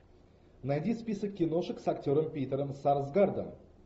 найди список киношек с актером питером сарсгаардом